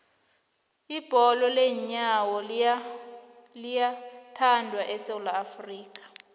ibholo leenyawo liyathandwa esewula afrika